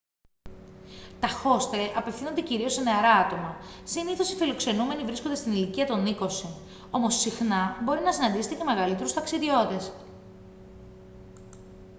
τα χόστελ απευθύνονται κυρίως σε νεαρά άτομα συνήθως οι φιλοξενούμενοι βρίσκονται στην ηλικία των είκοσι όμως συχνά μπορεί να συναντήσετε και μεγαλύτερους ταξιδιώτες